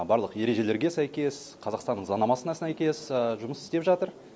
барлық ережелерге сәйкес қазақстанның заңнамасына сәйкес жұмыс істеп жатыр